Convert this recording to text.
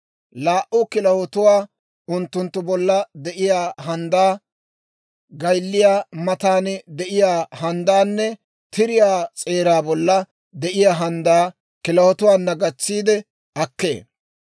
laa"u kilahotuwaa, unttunttu bolla de'iyaa handdaa, gaylliyaa matan de'iyaa handdaanne tiriyaa s'eeraa bolla de'iyaa handdaa kilahotuwaana gatsiide akkee.